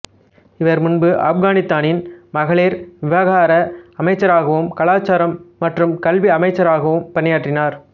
இவர் முன்பு ஆப்கானித்தானின் மகளிர் விவகார அமைச்சராகவும் கலாச்சாரம் மற்றும் கல்வி அமைச்சராகவும் பணியாற்றினார்